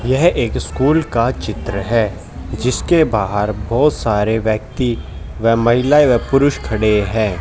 यह एक स्कूल का चित्र है जिसके बाहर बोहोत सारे व्यक्ती वे महिला वे पुरुष खड़े हैं।